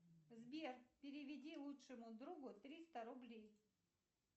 сбер переведи лучшему другу триста рублей